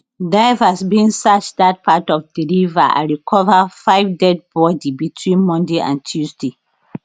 divers bin search dat part of di river and recover five deadbody between monday and tuesday